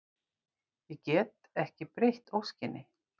Ég get ekki breytt óskinni.